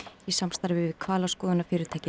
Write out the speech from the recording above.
í samstarfi við